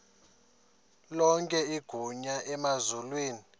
lonke igunya emazulwini